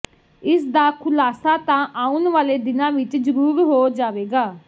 ਇਸਦਾ ਖੁਲਾਸਾ ਤਾਂ ਆਉਣ ਵਾਲੇ ਦਿਨਾਂ ਵਿੱਚ ਜਰੂਰ ਹੋ ਜਾਵੇਗਾ